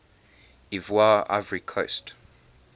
ivoire ivory coast